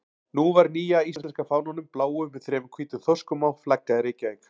Nú var nýja íslenska fánanum, bláum með þremur hvítum þorskum á, flaggað í Reykjavík.